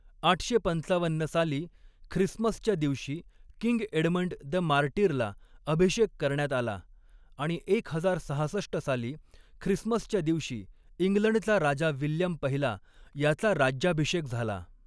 आठशे पंचावन्न साली ख्रिसमसच्या दिवशी किंग एडमंड द मार्टिरला अभिषेक करण्यात आला आणि एक हजार सहासष्ट साली ख्रिसमसच्या दिवशी इंग्लंडचा राजा विल्यम पहिला याचा राज्याभिषेक झाला.